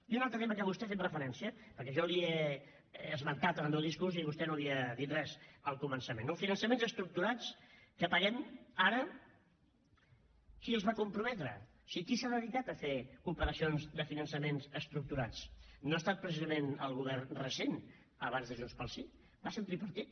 i un altre tema a què vostè ha fet referència perquè jo li he esmentat en el meu discurs i vostè no n’havia dit res al començament no finançaments estructurats que paguem ara qui els va comprometre o sigui qui s’ha dedicat a fer operacions de finançaments estructurats no ha estat precisament el govern recent abans de junts pel sí va ser el tripartit